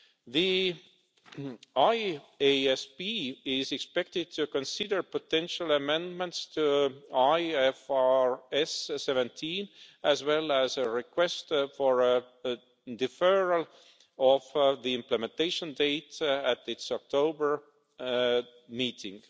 The IASB is expected to consider potential amendments to IFRS 17, as well as a request for deferral of the implementation date, at its October meeting.